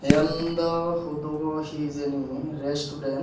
yan dw hudugo hijeni restuden.